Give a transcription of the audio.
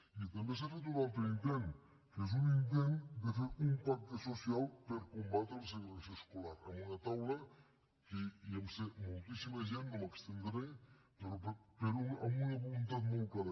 i també s’ha fet un altre intent que és un intent de fer un pacte social per combatre la segregació escolar amb una taula que hi vam ser moltíssima gent no m’hi estendré però amb una voluntat molt clara